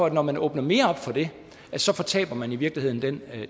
at når man åbner mere op for det så fortaber man i virkeligheden den